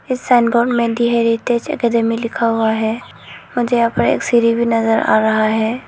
इसंगों में the heritage academy लिखा हुआ है मुझे यहां पर एक सीढ़ी भी नजर आ रहा है।